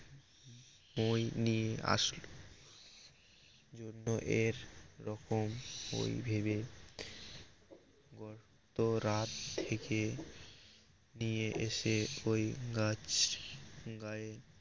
মই নিয়ে আসলো জন্য এর রকম ওই ভেবে গতরাত থেকে নিয়ে এসে ওই গাছ গায়ে